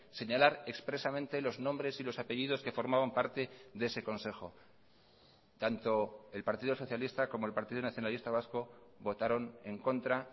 señalar expresamente los nombres y los apellidos que formaban parte de ese consejo tanto el partido socialista como el partido nacionalista vasco votaron en contra